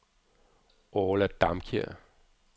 Orla Damkjær